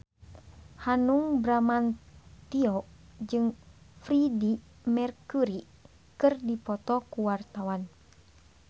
Hanung Bramantyo jeung Freedie Mercury keur dipoto ku wartawan